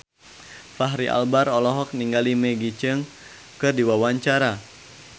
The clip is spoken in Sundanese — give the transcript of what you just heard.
Fachri Albar olohok ningali Maggie Cheung keur diwawancara